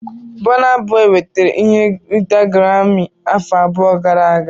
Bona boi nwetara ihe nrite Garami afọ abụọ gara aga.